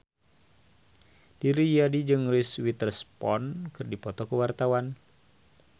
Didi Riyadi jeung Reese Witherspoon keur dipoto ku wartawan